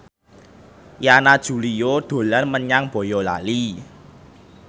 Yana Julio dolan menyang Boyolali